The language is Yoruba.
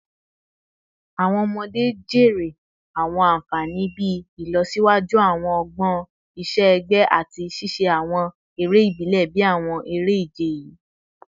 Awọn ọmọde jèrè awọn anfani bii ilọsiwaju awọn ọgbọn iṣẹ-ẹgbẹ lati ṣiṣe awọn ere ibile bii awọn ere-ije yii